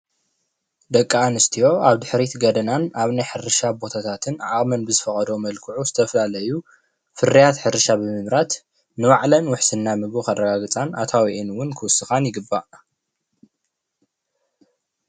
ደቂ ኣንስትዮ ኣብድሕሪት ገደናን ኣብ ናይ ሕርሻ ቦታታትን ዓቅመን ብዝፈቀዶ መልክዑ ዝተፈላለዩ ፍርያት ሕርሻ ነገራት ንባዕለን ውሕስና ምግቢ ከረጋግፃን ኣታዊአን እውን ክውስካ ይግባእ፡፡